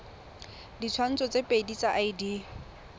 ditshwantsho tse pedi tsa id